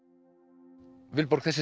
Vilborg þessi